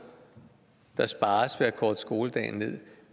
der spares ved at korte skoledagen